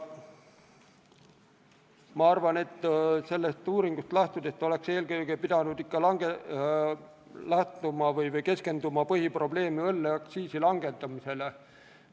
Ma arvan, et eelkõige sellest uuringust lähtudes oleks pidanud põhiprobleemina keskenduma õlleaktsiisi langetamisele.